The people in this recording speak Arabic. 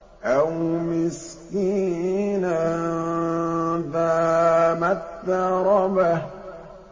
أَوْ مِسْكِينًا ذَا مَتْرَبَةٍ